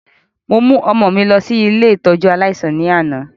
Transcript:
Mo mu ọmọ mi lọ si ile ìtójú aláísàn ni ana.